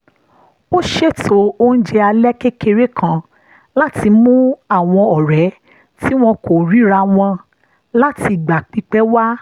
ó ṣètò oúnjẹ alẹ́ kékeré kan láti mú àwọn ọ̀rẹ́ tí wọn kò ríra wọn látìgbà pípẹ́ wá